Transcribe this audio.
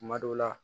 Kuma dɔw la